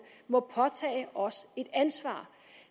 må påtage os et ansvar